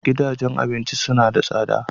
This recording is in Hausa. Gidajen abinci suna da tsada.